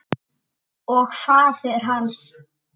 Og faðir hans.